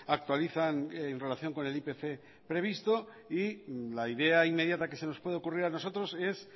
actualizan en relación con el ipc previsto y la idea inmediata que se nos puede ocurrir a nosotros es